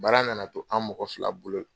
Baara nana to an mɔgɔ fila bolo.